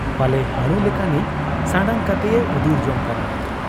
ᱯᱟᱞᱮ ᱦᱟᱹᱬᱩ ᱞᱮᱠᱟᱱᱤᱡ ᱥᱟᱱᱰᱟᱝ ᱠᱟᱛᱮᱭ ᱩᱫᱩᱨ ᱡᱚᱝ ᱠᱟᱱᱟ ᱾